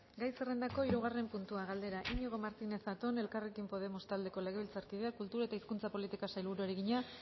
gai zerrendako hirugarren puntua galdera iñigo martínez zatón elkarrekin podemos taldeko legebiltzarkideak kultura eta hizkuntza politikako sailburuari egina